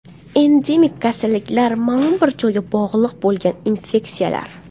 Endemik kasalliklar ma’lum bir joyga bog‘liq bo‘lgan infeksiyalar.